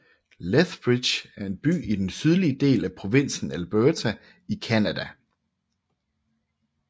Lethbridge er en by i den sydlige del af provinsen Alberta i Canada